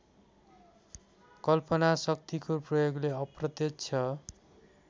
कल्पनाशक्तिको प्रयोगले अप्रत्यक्ष